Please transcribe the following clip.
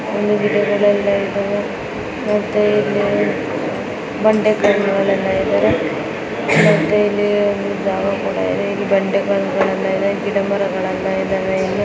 ಇಲ್ಲಿ ಗಿಡಗಳೆಲ್ಲ ಇದಾವೆ ಮತ್ತೆ ಇಲ್ಲಿ ಬಂಡೆಗಳೆಲ್ಲ ಇದಾವೆ ಮತ್ತೆ ಇಲ್ಲಿ ಜಾಗಗಳೆಲ್ಲ ಇದಾವೆ ಗಿಡಮರಗಳೆಲ್ಲ ಇದಾವ.